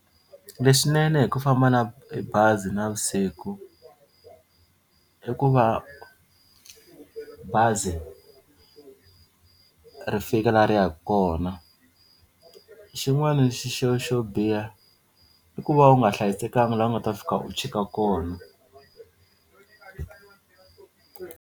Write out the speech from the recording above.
Leswinene hi ku famba na hi bazi navusiku i ku va bazi ri fika la ri ya kona xin'wana xi xo xo biha i ku va u nga hlayisekanga laha u nga ta fika u chika kona.